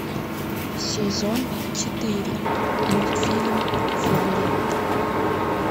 сезон четыре мультфильм виолетта